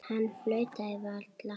Hann flaut varla.